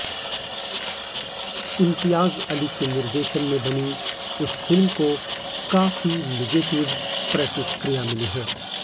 इम्तियाज अली के निर्देशन में बनी इस फिल्म को काफी निगेटिव प्रतिक्रिया मिली है